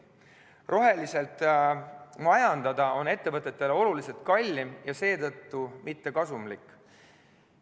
Roheliselt majandada on ettevõtetele oluliselt kallim ja seetõttu mitte kasumlik.